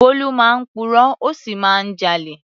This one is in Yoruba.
Bólú máa ń purọ́, ó sì máa ń jalè.